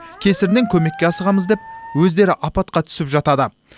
кесірінен көмекке асығамыз деп өздері апатқа түсіп жатады